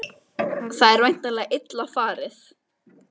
Það er væntanlega illa farið?